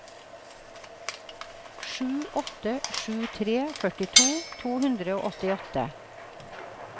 sju åtte sju tre førtito to hundre og åttiåtte